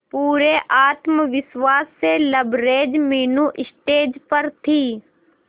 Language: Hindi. पूरे आत्मविश्वास से लबरेज मीनू स्टेज पर थी